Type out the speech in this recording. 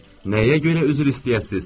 Nəyə görə üzr istəyəsiz?